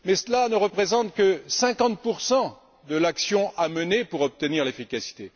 Mais cela ne représente que 50 de l'action à mener pour obtenir l'efficacité.